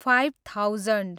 five thousand